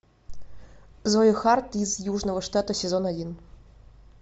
зои харт из южного штата сезон один